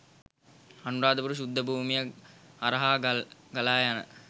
අනුරාධපුර ශුද්ධ භූමිය හරහා ගලායන